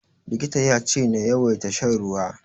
Likitan ya ce na yawaita shan ruwa.